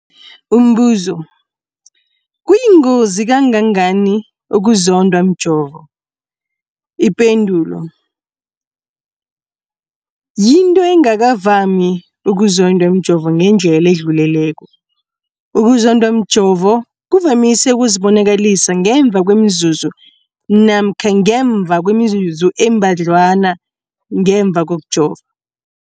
Umbuzo, kuyingozi kangangani ukuzondwa mjovo? Ipendulo, yinto engakavami ukuzondwa mjovo ngendlela edluleleko. Ukuzondwa mjovo kuvamise ukuzibonakalisa ngemva kwemizuzwana namkha ngemva kwemizuzu embadlwana ngemva kokujova.